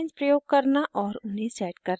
* guidelines प्रयोग करना और उन्हें set करना